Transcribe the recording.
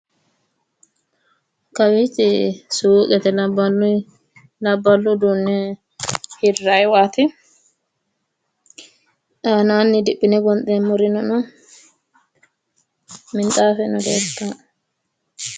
Kawiichi suuqete labballu uduunne hirrayiiwaati. aanaanni diphine gonxeemmmorino no, minxaafeno leeltanno.